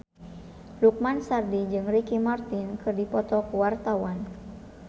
Lukman Sardi jeung Ricky Martin keur dipoto ku wartawan